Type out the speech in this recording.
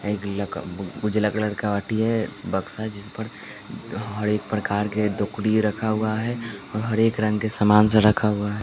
उजला कलर का वाटी है बक्सा है जिस पर हर एक प्रकार के दुकड़ी रखा हुआ है और हर एक रंग के समान से रखा हुआ है।